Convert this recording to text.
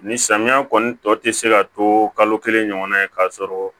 Ni samiya kɔni tɔ ti se ka to kalo kelen ɲɔgɔn na ye k'a sɔrɔ